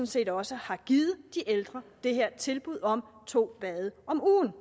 set også har givet de ældre det her tilbud om to bade om ugen